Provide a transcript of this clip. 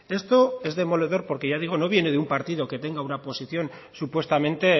esto es demoledor porque ya digo no viene de un partido que tenga una posición supuestamente